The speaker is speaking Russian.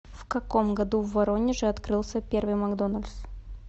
в каком году в воронеже открылся первый макдональдс